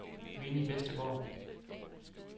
Winnie Westergaard